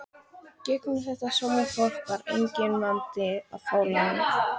gegnum þetta sómafólk var enginn vandi að fá lán.